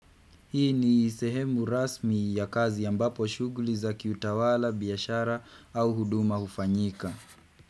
Hii ni sehemu rasmi ya kazi ambapo shughuli za kiutawala, biashara au huduma ufanyika.